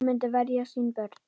Hann myndi verja sín börn.